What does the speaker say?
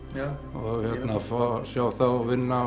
og fá að sjá þá vinna